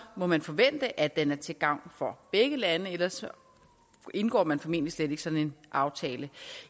må man forvente at den er til gavn for begge lande for ellers indgår man formentlig slet ikke sådan en aftale